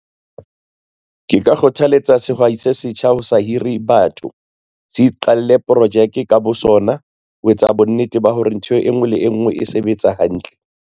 Ke ka kgothaletsa sehwai se setjha ho sa hire batho. Se iqalle projeke ka bo sona, ho etsa bonnete ba hore ntho e ngwe le e ngwe e sebetsa hantle.